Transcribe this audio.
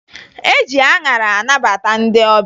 E ji aṅara anabata ndị ọbịa